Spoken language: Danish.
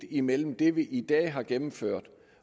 imellem det vi i dag har gennemført